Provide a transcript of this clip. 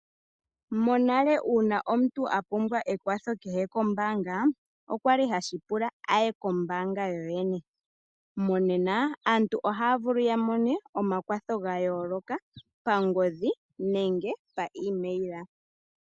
Monale uuna omuntu a pumbwa ekwatho kehe kombaanga osha li hashi pula a ye kombaanga yoyene. Monena aantu ohaya vulu ya mone omakwatho ga yooloka pangodhi nenge paemaila.